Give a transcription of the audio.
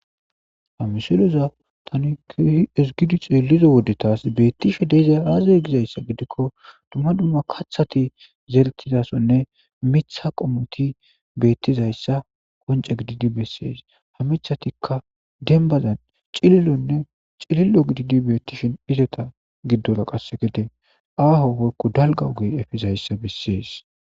Hamisoloza tani kehi esgidi xeelizo wodetas beettishe deeza raaze gizayssa gidikko dumma dumma kaththati zertizasonne mitha qomoti beettizayssa qonca gididi bessees ha mithatikka dembazan cilillonne cilillo gididi beettishin izeta giddora qasse gede aaho woykko dalga ogey efizayssa bessees.